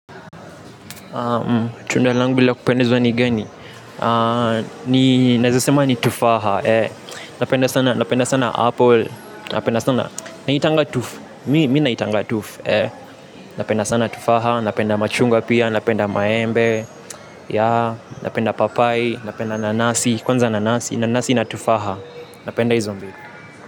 Tunda langu la kupendezwa ni gani. Ninaeza sema ni tufaha. Napenda sana npple napenda sana naitanga tufu mimi naitanga tufu. Napenda sana tufaha. Napenda machungwa pia. Napenda maembe. Napenda papai. Napenda nanasi. Kwanza nanasi. Nanasi na tufaha. Napenda izo.